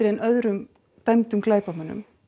en öðrum dæmdum glæpamönnum